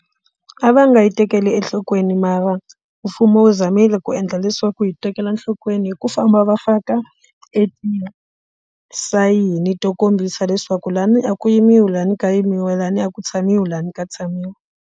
A va nga yi tekeli enhlokweni mara mfumo wu zamile ku endla leswaku hi tekela enhlokweni hi ku famba va faka sayini to kombisa leswaku la ni a ku yimiwi la ni ka yimiwa la ni a ku tshamiwi la ni ka tshamiwa.